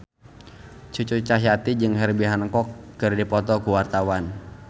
Cucu Cahyati jeung Herbie Hancock keur dipoto ku wartawan